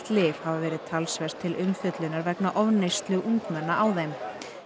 lyf hafa verið talsvert til umfjöllunar undanfarið vegna ofneyslu ungmenna á þeim